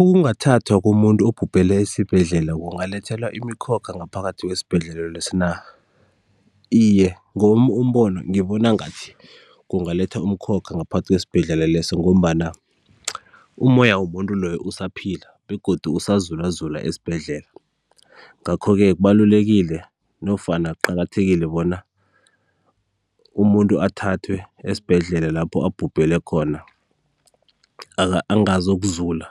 Ukungathathwa komuntu obhubhelele esibhedlela kungalethela imikhokha ngaphathi kwesibhedlela leso na? Iye, ngowami umbono ngibona ngathi kungaletha umkhokha ngaphakathi kwesibhedlela leso ngombana umoya womuntu loyo usaphila begodu usazulazula esibhedlela. Ngakho-ke kubalulekile nofana kuqakathekile bona umuntu athathwe esibhedlela lapho abhubhele khona angazokuzula,